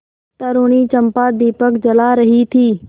तरूणी चंपा दीपक जला रही थी